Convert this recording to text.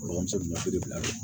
Dɔgɔmuso la bi bila